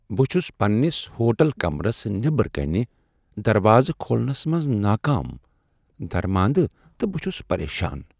بہٕ چُھس پننِس ہوٹل کمرس نیبر كَنہِ دروازٕ کھولنس منٛز ناکام درماندٕ تہٕ بہٕ چُھس پریشان ۔